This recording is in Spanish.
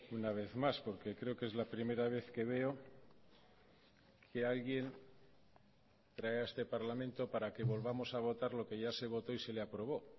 una vez más porque creo que es la primera vez que veo que alguien trae a este parlamento para que volvamos a votar lo que ya se votó y se le aprobó